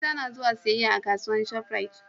mata na zuwa siyayya a kasuwar shop rite